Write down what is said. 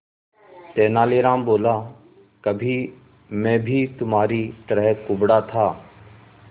तेनालीराम बोला कभी मैं भी तुम्हारी तरह कुबड़ा था